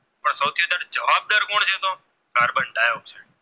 Dioxide